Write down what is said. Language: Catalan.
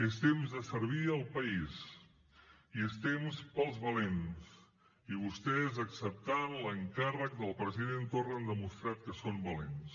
és temps de servir al país i és temps per als valents i vostès acceptant l’encàrrec del president torra han demostrat que són valents